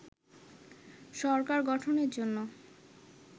সরকার গঠনের জন্য